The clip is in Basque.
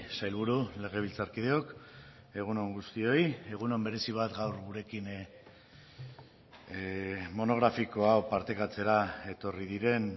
sailburu legebiltzarkideok egun on guztioi egun on berezi bat gaur gurekin monografiko hau partekatzera etorri diren